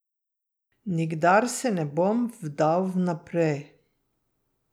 Nikdar se ne bom vdal vnaprej.